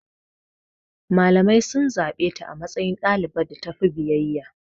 Malamai sun zaɓe ta a matsayin ɗaliban da tafi biyayya.